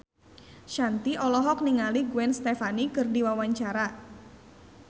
Shanti olohok ningali Gwen Stefani keur diwawancara